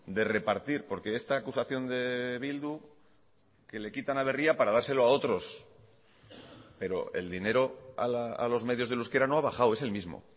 de repartir porque esta acusación de bildu que le quitan a berria para dárselo a otros pero el dinero a los medios del euskera no ha bajado es el mismo